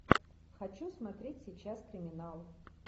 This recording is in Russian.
хочу смотреть сейчас криминал